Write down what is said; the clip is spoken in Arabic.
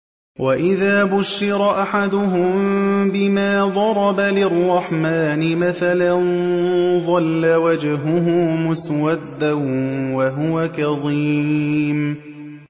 وَإِذَا بُشِّرَ أَحَدُهُم بِمَا ضَرَبَ لِلرَّحْمَٰنِ مَثَلًا ظَلَّ وَجْهُهُ مُسْوَدًّا وَهُوَ كَظِيمٌ